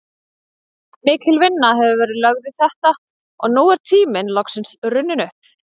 Mikil vinna hefur verið lögð í þetta og nú er tíminn loksins runninn upp.